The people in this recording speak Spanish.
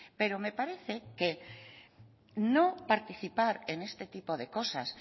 pero me parece que no participar en este tipo de cosas